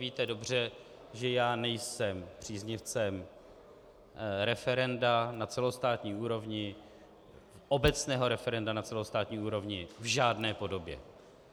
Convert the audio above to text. Víte dobře, že já nejsem příznivcem referenda na celostátní úrovni, obecného referenda na celostátní úrovni v žádné podobě.